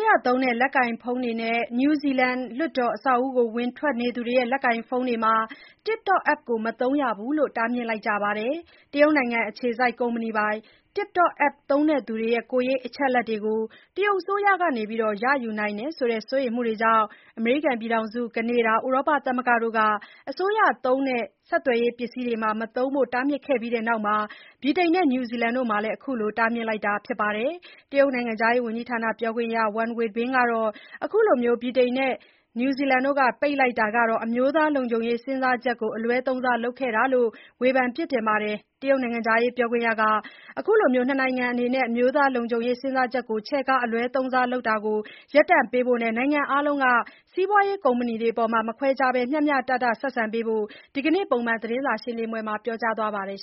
ရသုံး လက်ကိုင်ဖုန်းတွေနဲ့ နယူးဇီလန်လွှတ်တော်အဆောက်အဦးကို ဝင်ထွက်နေသူတွေရဲ့ လက်ကိုင်ဖုန်းတွေမှာ TikTok app မသုံးရလို့ တားမြစ်လိုက်ကြပါတယ်။ တရုတ်နိုင်ငံအခြေစိုက် ကုမ္ပဏီပိုင် TikTok App သုံးသူတွေရဲ့ ကိုယ်ရေးအချက်အလက်တွေကို တရုတ်အစိုးရက ရယူနိုင်တယ်ဆိုတဲ့ စိုးရိမ်မှုကြောင့် အမေရိကန်၊ ကနေဒါ၊ ဥရောပသမဂ္ဂတို့က အစိုးရသုံး ဆက်သွယ်ရေးပစ္စည်းတွေမှာ မသုံးဖို့ တားမြစ်ခဲ့ပြီးနောက်မှာ ဗြိတိန်နဲ့ နယူးဇီလန်တို့က ခုလိုတားမြစ်လိုက်တာဖြစ်ပါတယ်။ တရုတ်နိုင်ငံခြားရေးဝန်ကြီးဌာန ပြောခွင့်ရ Wang Wenbin ကတော့ အခုလို ဗြိတိန်နဲ့ နယူးဇီလန်တို့က ပိတ်လိုက်တာက အမျိုးသားလုံခြုံရေး စဉ်းစားချက်ကို အလွဲသုံးစားလုပ်ခဲ့တာလို့ ဝေဖန်ပစ်တင်လိုက်ပါတယ်။ ဒီတရုတ်နိုင်ငံခြားရေးပြောခွင့်ရက အခု ၂ နိုင်ငံအနေနဲ့ အမျိုးသားလုံခြုံရေး စဉ်းစားချက်ကို ချဲ့ကားအလွဲသုံးစားလုပ်ခဲ့တာကို ရပ်တန့်ပေးဖို့နဲ့ နိုင်ငံအားလုံးက စီးပွားရေးကုမ္ပဏီတွေအပေါ် မခွဲခြားဘဲ မျှမျှတတဆက်ဆံပေးဖို့ ဒီနေ့ ပုံမှန်သတင်းစာရှင်းပွဲမှာ ပြောကြားသွားခဲ့ပါတယ်